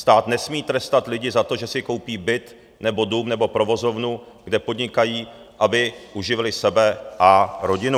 Stát nesmí trestat lidi za to, že si koupí byt nebo dům nebo provozovnu, kde podnikají, aby uživili sebe a rodinu."